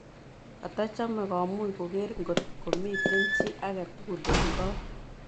Katachame komuch kogeer kot komiten chi agetugul eng' kot